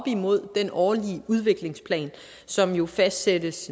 imod den årlige udviklingsplan som jo fastsættes